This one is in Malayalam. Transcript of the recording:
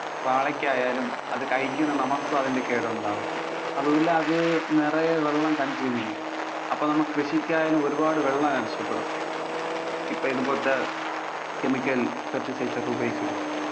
വാഴക്കായാലും, അത് കഴിക്കുന്ന നമുക്കും അതിന്‍ടെ കേടുണ്ടാകും. അതുപോലെ അത് നിറയെ വെള്ളം consume ചെയ്യും. അപ്പൊ നമ്മൾ കൃഷിക്കായാലും ഒരുപാട് വെള്ളം ആവശ്യപ്പെടും. ഇപ്പൊ ഇതുപോലത്തെ chemical pesticides ഒക്കെ ഉപയോഗിക്കുമ്പോൾ.